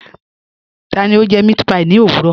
Tani o jẹ mẹ̀àtpí ní ọ̀wurọ̀?